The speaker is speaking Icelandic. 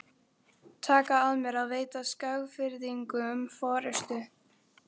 á breidd og allt að þumlungsþykkir.